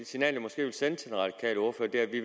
signal jeg måske vil sende til den radikale ordfører er at vi